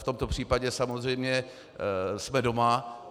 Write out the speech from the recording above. V tomto případě samozřejmě jsme doma.